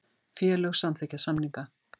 Félög samþykkja samninga